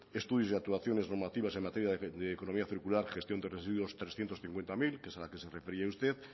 estudios de actuaciones normativas en materia de economía circular gestión de residuos trescientos cincuenta mil que es a la que se refería usted